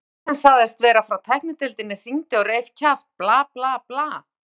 Einhver sem sagðist vera frá tæknideildinni hringdi og reif kjaft, bla, bla, bla.